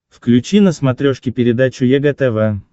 включи на смотрешке передачу егэ тв